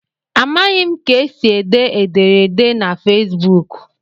Amaghị m ka esi ede ederede na Facebuk.